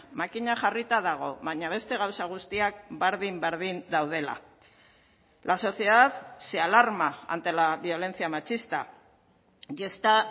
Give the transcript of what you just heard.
makina jarrita dago baina beste gauza guztiak berdin berdin daudela la sociedad se alarma ante la violencia machista y esta